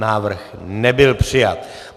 Návrh nebyl přijat.